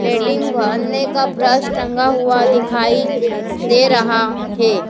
का ब्रश टंगा हुआ दिखाई दे रहा है।